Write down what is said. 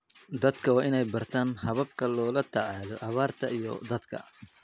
Dadku waa inay bartaan hababka loola tacaalo abaarta iyo daadadka.